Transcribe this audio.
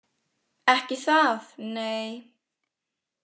Ekki það nei.